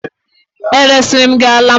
E resiri m gị ala m?